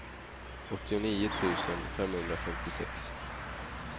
åttionio tusen femhundrafemtiosex